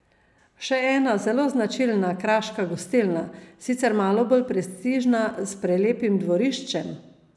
Še ena zelo značilna kraška gostilna, sicer malo bolj prestižna, s prelepim dvoriščem.